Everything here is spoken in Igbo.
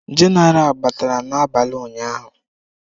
Genaral batara n'abalị ụnyahụ.